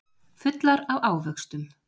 Fullar af ávöxtum.